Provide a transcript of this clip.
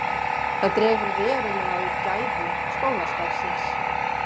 Það dregur verulega úr gæðum skólastarfsins